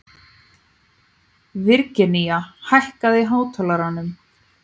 Virginía, hækkaðu í hátalaranum.